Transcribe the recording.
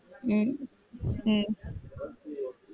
உம் உம்